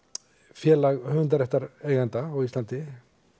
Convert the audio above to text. félag á Íslandi